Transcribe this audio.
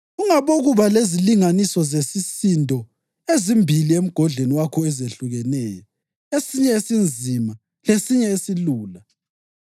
Ungabokuba lezilinganiso zesisindo ezimbili emgodleni wakho ezehlukeneyo, esinye esinzima lesinye esilula.